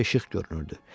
Uzaqda işıq görünürdü.